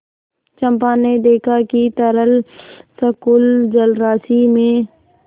चंपा ने देखा कि तरल संकुल जलराशि में